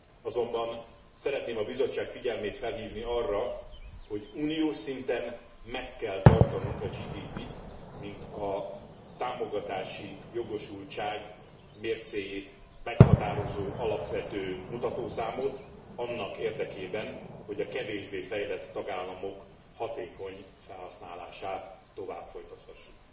Azonban szeretném a Bizottság figyelmét felhívni arra, hogy uniós szinten meg kell tartanunk a GDP t, mint a támogatási jogosultság mércéjét meghatározó alapvető mutatószámot annak érdekében, hogy a kevésbé fejlett tagállamok hatékony felhasználását tovább folytathassuk.